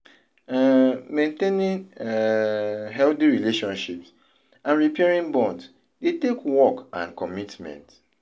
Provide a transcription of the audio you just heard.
um Maintaining um healthy relationships and repairing bonds dey take work and commitment.